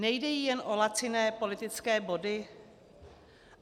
Nejde jí jen o laciné politické body?